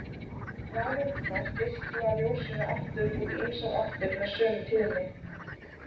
Rafeindirnar geisla ljósinu aftur út í ýmsar áttir með sömu tíðni.